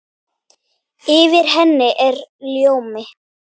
Yfir henni er ljómi.